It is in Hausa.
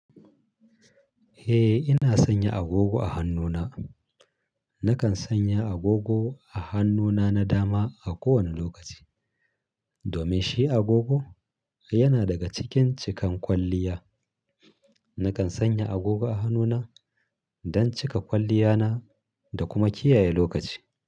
Eh, ina sanya agogo a hannuna. Nakan sanya agogo a hannuna na dama a kowane lokaci. Domin shi agogo yana daga cikin cikan kwalliya. Nakan sanya agogo a hannuna don cika kwalliyana da kuma kiyaye lokaci.